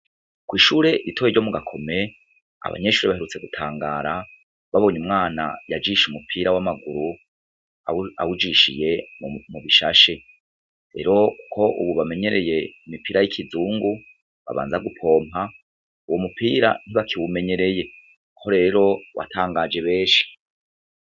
Ko ishure iritoye ryo mu gakome abanyeshuri baherutse gutangara babonye umwana yajishe umupira w'amaguru awujishiye mu mubishashe rero, kuko, ubu bamenyereye imipira y'ikizungu babanza gupompa uwo mupira ntibakiwumenyereye ko rero watangajebe eci.